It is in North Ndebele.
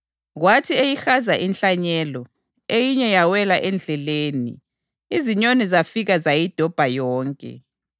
Kwathi eyihaza inhlanyelo, eyinye yawela endleleni, izinyoni zafika zayidobha yonke.